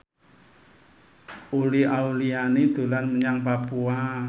Uli Auliani dolan menyang Papua